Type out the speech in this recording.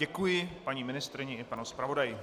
Děkuji paní ministryni i panu zpravodaji.